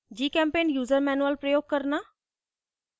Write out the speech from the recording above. gchempaint user manual प्रयोग करना